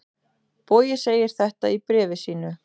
Bogi segir þetta í bréfi sínu: